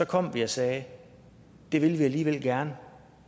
kom vi og sagde det vil vi alligevel gerne